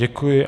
Děkuji.